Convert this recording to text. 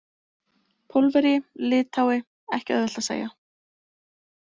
Pólverji, Lithái, ekki auðvelt að segja.